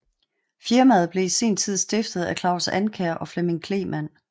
Firmaet blev i sin tid stiftet af Claus Ankjær og Flemming Kleemann